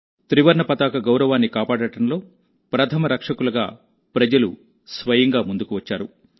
త్రివర్ణ పతాక గౌరవాన్ని కాపాడడంలో ప్రథమ రక్షకులుగా ప్రజలు స్వయంగా ముందుకు వచ్చారు